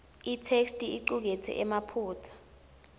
itheksthi icuketse emaphutsa